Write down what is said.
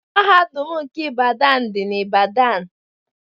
Mahadum nke Ibadan dị na Ibadan